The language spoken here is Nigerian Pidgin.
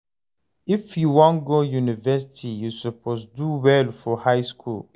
If you wan go university, you suppose do well for high school.